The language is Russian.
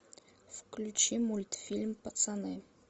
включи мультфильм пацаны